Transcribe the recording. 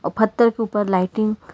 पत्थर के ऊपर लाइटिंग --